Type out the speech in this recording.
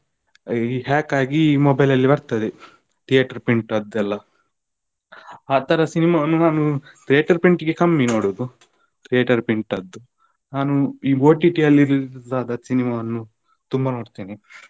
ಈ hack ಆಗಿ mobile ಅಲ್ಲಿ ಬರ್ತದೆ theater print ಅದ್ದು ಎಲ್ಲಾ. ಆತರ cinema ವನ್ನು ನಾನು theater print ಇಗೆ ಕಮ್ಮಿ ನೋಡುದು. theater print ಅದು ನಾನು ಈ OTT ಅಲ್ಲಿ release ಆದ cinema ವನ್ನು ತುಂಬಾ ನೋಡ್ತೇನೆ.